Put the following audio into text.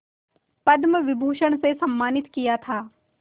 पद्म विभूषण से सम्मानित किया था